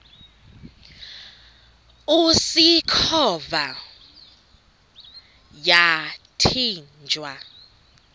usikhova yathinjw a